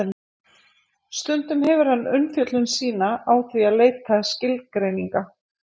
stundum hefur hann umfjöllun sína á því að leita skilgreininga